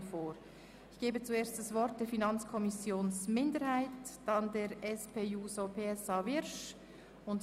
Im Voranschlag 2018 ist der Saldo der Produktgruppe 7.7.5 «Migration und Personenstand» um zusätzlich CHF 0,22 Millionen zu reduzieren.